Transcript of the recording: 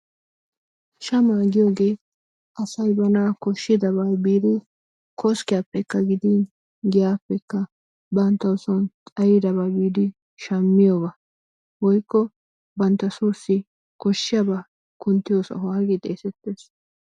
shaamuwaa giyoogee asay bana kooshidaaba biidi koskkiyaappekka gidin giyyaappekka banttawu son xaayidaba biidi shaammiyooba woykko bantta soosi kooshiyaaba kunttiyoo sohuwaa gi xeesettees.